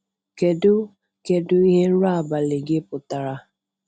Kedu Kedu ihe nrọ abalị gị pụtara?